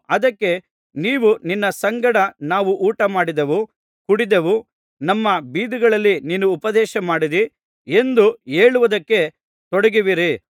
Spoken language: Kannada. ಅದಕ್ಕೆ ನೀವು ನಿನ್ನ ಸಂಗಡ ನಾವು ಊಟ ಮಾಡಿದೆವು ಕುಡಿದೆವು ನಮ್ಮ ಬೀದಿಗಳಲ್ಲಿ ನೀನು ಉಪದೇಶ ಮಾಡಿದ್ದಿ ಎಂದು ಹೇಳುವುದಕ್ಕೆ ತೊಡಗುವಿರಿ